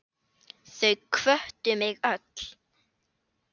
Þau hvöttu mig öll.